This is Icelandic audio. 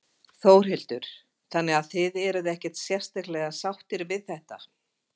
Þórhildur: Þannig að þið eruð ekkert sérstaklega sáttir við þetta?